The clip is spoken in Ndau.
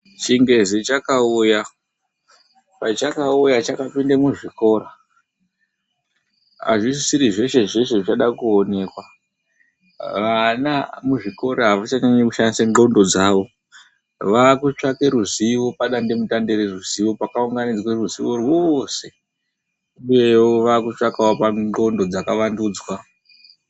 Chingezi chakauya, pachakauya chakapinda muzvikora azvisisiri zveshe-zveshe zvichada kuonekwa. Vana muzvikora avachanyanyi kushandisa ndxondo dzavo, vaakutsvaka ruzivo padandemutande reruzivo pakaunganidzwa ruzivo rwose uyewo vave kutsvakawo pandxondo dzakavandudzwa.